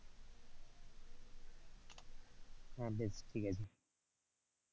হ্যাঁ বেশ ঠিক আছে,